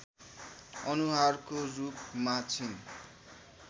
अनुहारको रूपमा छिन्